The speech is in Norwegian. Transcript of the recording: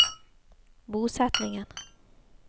bosetningen